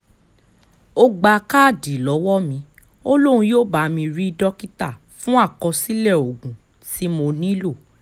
o gba kaadi lọwọ mi, o lohun yoo ba mi ri dọkita fakọsilẹ ogun ti mo nilo